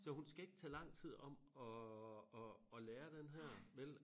Så hun skal ikke tage lang tid om at at at lære den her vel